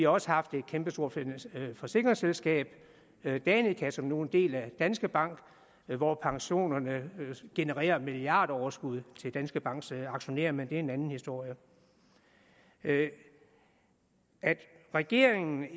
også haft et kæmpestort forsikringsselskab danica som nu er en del af danske bank hvor pensionerne genererer milliardoverskud til danske banks aktionærer men det er en anden historie at regeringen